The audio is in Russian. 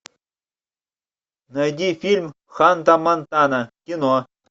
найди фильм ханта монтана кино